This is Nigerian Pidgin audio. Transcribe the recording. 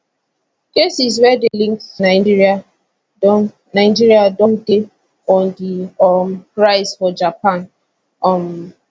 cases wey dey linked to nigeria don nigeria don dey on di um rise for japan um